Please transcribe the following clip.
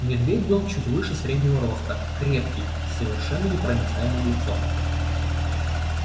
медведь был чуть выше среднего роста крепкий и с совершенно непроницаемым лицом